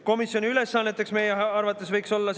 Komisjoni ülesanded meie arvates võiks olla.